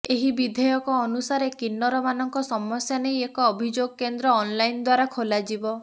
ଏହି ବିଧେୟକ ଅନୁସାରେ କିନ୍ନର ମାନଙ୍କ ସମସ୍ୟା ନେଇ ଏକ ଅଭିଯୋଗ କେନ୍ଦ୍ର ଅନଲାଇନ ଦ୍ୱାରା ଖୋଲାଯିବ